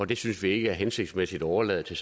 det synes vi ikke er hensigtsmæssigt at overlade til